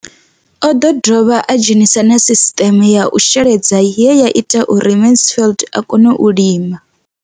O ḓo dovha a dzhenisa na sisiṱeme ya u sheledza ye ya ita uri Mansfied a kone u lima.